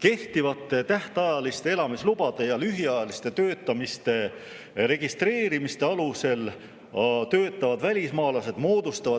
Kehtivate tähtajaliste elamislubade ja lühiajalise töötamise registreerimise alusel moodustavad töötavad välismaalased